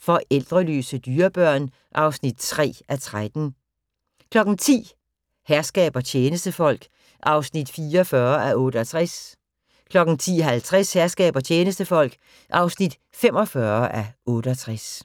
Forældreløse dyrebørn (3:13) 10:00: Herskab og tjenestefolk (44:68) 10:50: Herskab og tjenestefolk (45:68)